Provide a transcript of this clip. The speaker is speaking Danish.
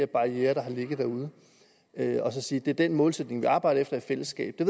barrierer der har ligget derude og så sige det er den målsætning vi arbejder efter i fællesskab det